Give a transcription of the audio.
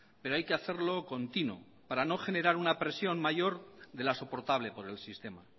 pero hay que hacerlo continuo para no generar una presión mayor de la soportable por el sistema